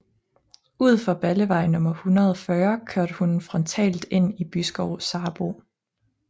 Ud for Ballevej nummer 140 kørte hun frontalt ind i Byskov Sarbo